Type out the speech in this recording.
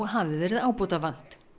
hafi verið ábótavant